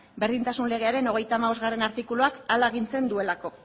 berdintasun legearen hogeita hamabostgarrena artikuluak hala agintzen duelako